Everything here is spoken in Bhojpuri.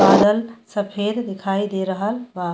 बादल सफ़ेद दिखाई दे रहल बा।